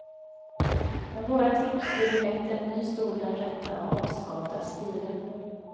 Med våra tips ger du lätt en ny stol den rätta avskavda stilen.